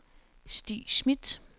Stig Smidt